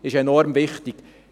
Dies ist enorm wichtig.